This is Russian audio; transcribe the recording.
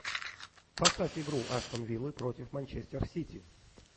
поставь игру астон виллы против манчестер сити